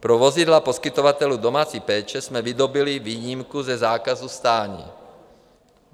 Pro vozidla poskytovatelů domácí péče jsme vydobyli výjimku ze zákazu stání.